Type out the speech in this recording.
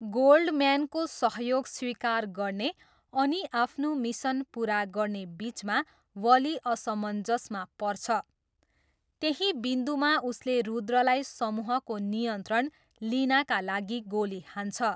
गोल्डम्यानको सहयोग स्वीकार गर्ने अनि आफ्नो मिसन पुरा गर्ने बिचमा वली असमञ्जसमा पर्छ, त्यही बिन्दुमा उसले रुद्रलाई समूहको नियन्त्रण लिनाका लागि गोली हान्छ।